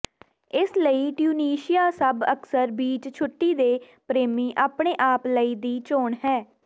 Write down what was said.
ਇਸ ਲਈ ਟਿਊਨੀਸ਼ੀਆ ਸਭ ਅਕਸਰ ਬੀਚ ਛੁੱਟੀ ਦੇ ਪ੍ਰੇਮੀ ਆਪਣੇ ਆਪ ਲਈ ਦੀ ਚੋਣ ਹੈ